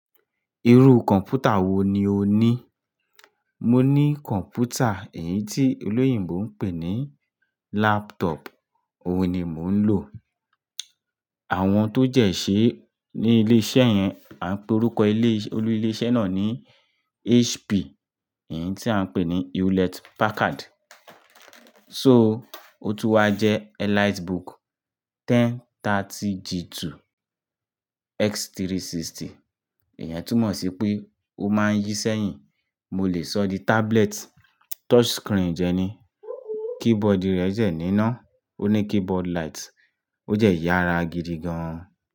Irú kọ̀npútà wo ni o ní? Mo ní kọ̀npútà, èyí tí olóyìnbo ń pè ní laptop. Óun ni mò ń lò. Àwọn tó dẹ́ ṣẹ́ ní ilé-iṣẹ́ yẹn, à ń pe orúkọ olú ilé iṣẹ́ náà ní HP, èyí tí à ń pè ní Hewlett-Packard. So, ó tún wá jẹ́ EliteBook 1030 G2 x360. Ìyẹn túmọ̀ sí pé ó máa ń yí sẹ́yìn. Mo lè sọ di tablet, touch screen dẹ́ ní. Keyboard rẹ̀ dẹ́ nínà. Ó ní keyboard light. Ó dẹ́ yára gidi gan-an.